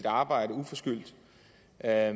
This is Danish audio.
er